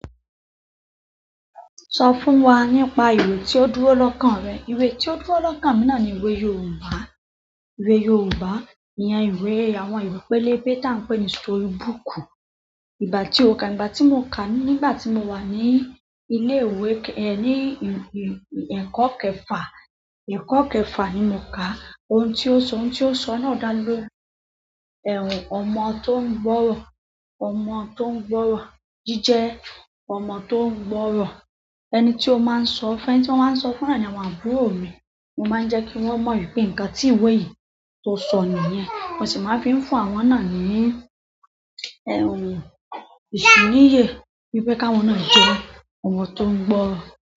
Sọ fún wa nípa ìwé tí o dúró lọ́kàn rẹ. Ìwé tí ó dúró lọ́kàn mi náà ni ìwé yorùbá. Ìwé yorùbá iyen ìwé àwọn ìwé pélébé tí a n pè ní story book. Ìgbà tí ó ka, ìgbà tí mo kà á nígbà tí mo wà ní ilé ìwé, ní ẹ̀kọ́ kẹfà. Ẹ̀kọ́ kẹfà ni mo kà á. Ohun tí ó sọ, ohun tí ó sọ náà dá lórí ọmọ tó ń gbọ́rọ̀, ọmọ tó ń gbọ́rọ̀. Jíjẹ ọmọ tó ń gbọ́rọ̀. Ẹni tí ó máa ń sọ, ẹni tí mó máa ń sọ fún náà ni àwọn àbúrò mi. Mo máa ń jẹ kí wón mọ̀ wípé ǹkan tí ìwé yìí tó sọ nìyí. Mo sì máa fi ń fún àwọn náà ní, ìṣiníyè wípé káwọn náà jẹ́ ọmọ tó ń gbọ́.